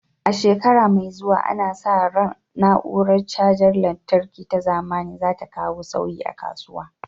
A shekara mai zuwa, ana sa ran na'urar cajar lantarki ta zamani za ta kawo sauyi a kasuwa.